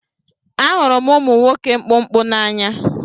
Ahụrụ m ụmụ nwoke mkpụmkpụ n'anya